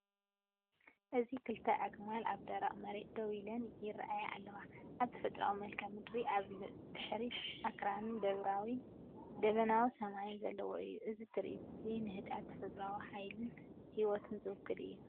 እዚ ክልተ ኣግማል ኣብ ደረቕ መሬት ደው ኢለን ይረአያ ኣለዋ፣ ኣብ ተፈጥሮኣዊ መልክዓ ምድሪ። ኣብ ድሕሪት ኣኽራንን ደበናዊ ሰማይን ዘለዎ እዩ። እዚ ትርኢት እዚ ንህድኣት ተፈጥሮን ንሓይሊ ህይወትን ዝውክል እዩ።